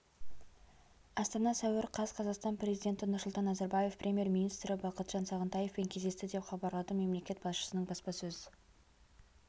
астана сәуір қаз қазақстан президенті нұрсұлтан назарбаев премьер-министрі бақытжан сағынтаевпен кездесті деп хабарлады мемлекет басшысының баспасөз